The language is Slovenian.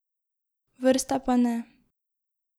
Vrste pa ne.